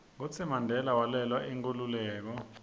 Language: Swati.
kutsi mandela walwela inkhululeko